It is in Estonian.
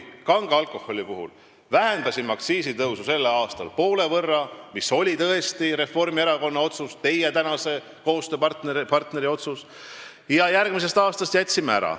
Kange alkoholi puhul vähendasime sellel aastal aktsiisitõusu poole võrra, mis oli tõesti Reformierakonna, teie praeguse koostööpartneri otsus, ja järgmisest aastast jätsime tõusu ära.